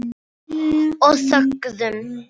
Og þögðum.